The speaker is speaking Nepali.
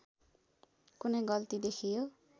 कुनै गल्ती देखियो